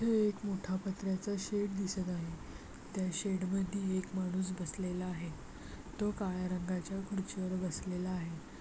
इथे एक मोठा पत्र्याचा शेड दिसत आहे त्या शेड मध्ये एक माणूस बसलेला आहे तो काळ्या रंगाच्या खुर्चीवर बसलेला आहे.